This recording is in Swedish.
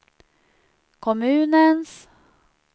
kommunens